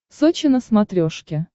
сочи на смотрешке